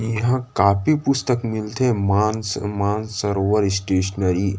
इहाँ कॉपी पुस्तक मिलथे मानस मानसरोवर स्टेस्नरी--